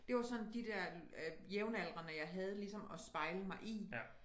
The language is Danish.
Det var sådan de dér jævnaldrende jeg havde ligesom at spejle mig i